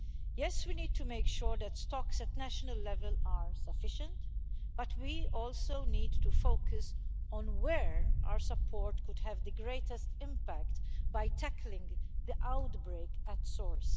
Yes, we need to make sure that stocks at national level are sufficient, but we also need to focus on where our support could have the greatest impact by tackling the outbreak at source.